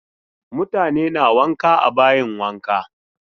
Mutane na wanka a bayin wanka.